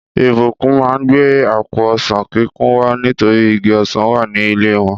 Ìbùkún má gbé àpò ọsán kikun wá nítorí igi ọsán wa ní ilé wọn